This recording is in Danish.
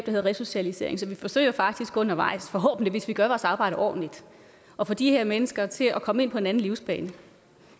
hedder resocialisering så vi forsøger faktisk undervejs forhåbentlig hvis vi gør vores arbejde ordentligt at få de her mennesker til at komme ind på en anden livsbane